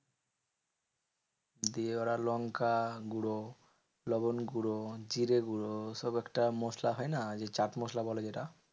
দিয়ে ওরা লঙ্কাগুঁড়ো, লবনগুঁড়ো, জিরেগুঁড়ো সব একটা মসলা হয় না? যে চাটমসলা বলে যেটা।